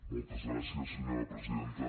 moltes gràcies senyora presidenta